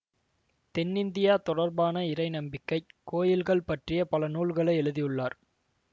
தென்னிந்தியா தொடர்பான இறை நம்பிக்கை கோயில்கள் பற்றிய பல நூல்களை எழுதியுள்ளார்